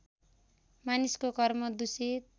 मानिसको कर्म दूषित